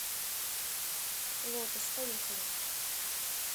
лотос поехали